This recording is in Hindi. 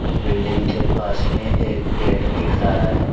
बिल्डिंग के पास में एक पेड़ दिख रहा है।